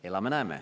" Elame, näeme.